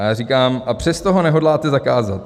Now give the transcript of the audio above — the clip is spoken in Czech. A já říkám: A přesto ho nehodláte zakázat.